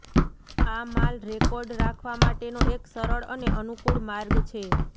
આ માલ રેકોર્ડ રાખવા માટેનો એક સરળ અને અનુકૂળ માર્ગ છે